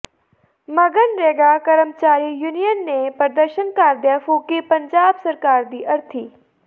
ਮਗਨਰੇਗਾ ਕਰਮਚਾਰੀ ਯੂਨੀਅਨ ਨੇ ਪ੍ਰਦਰਸ਼ਨ ਕਰਦਿਆਂ ਫੂਕੀ ਪੰਜਾਬ ਸਰਕਾਰ ਦੀ ਅਰਥੀ